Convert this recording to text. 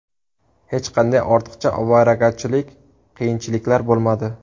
Hech qanday ortiqcha ovoragarchilik, qiyinchiliklar bo‘lmadi.